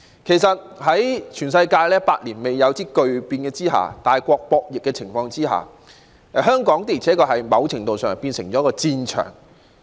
其實，在全球百年一遇的巨變和大國博弈的情況下，香港的而且確在某程度上成為了戰場。